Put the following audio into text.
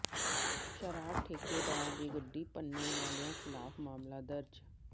ਸ਼ਰਾਬ ਠੇਕੇਦਾਰ ਦੀ ਗੱਡੀ ਭੰਨਣ ਵਾਲਿਆਂ ਿਖ਼ਲਾਫ਼ ਮਾਮਲਾ ਦਰਜ